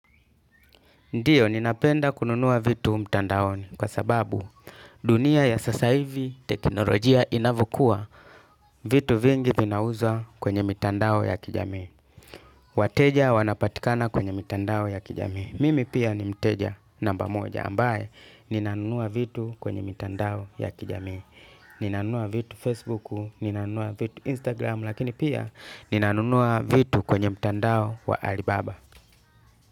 Ndiyo ninapenda kununua vitu mtandaoni kwasababu dunia ya sasa hivi teknolojia inavyokua vitu vingi vinauzwa kwenye mitandao ya kijamii. Wateja wanapatikana kwenye mitandao ya kijamii. Mimi pia ni mteja namba moja ambaye ninanunua vitu kwenye mitandao ya kijamii. Ninanunua vitu Facebooku, ninanunua vitu Instagramu lakini pia ninanunua vitu kwenye mtandao wa Alibaba.